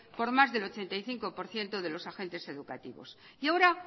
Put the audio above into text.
por más del ochenta y cinco por ciento de los agentes educativos y ahora